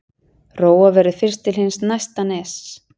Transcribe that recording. Róa verður fyrst til hins næsta ness.